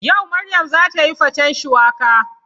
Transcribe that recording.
Yau Maryam za ta yi faten shuwaka.